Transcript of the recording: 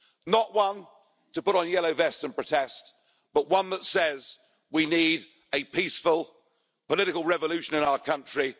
Not one to put on yellow vests and protest, but one that says we need a peaceful political revolution in our country.